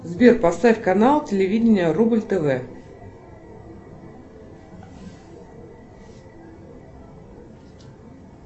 сбер поставь канал телевидения рубль тв